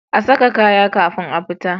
A saka kaya kafin a fita